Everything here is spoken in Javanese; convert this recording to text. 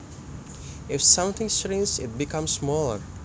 If something shrinks it becomes smaller